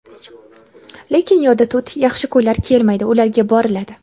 Lekin yodda tut, yaxshi kunlar "kelmaydi", ularga "boriladi".